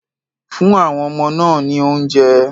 Fún àwon ọmọ náà ní oúnjẹ.